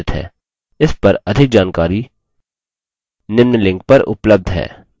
इस पर अधिक जानकारी निम्न लिंक पर उपलब्ध है